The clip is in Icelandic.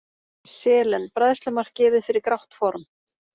Selen: Bræðslumark gefið fyrir grátt form.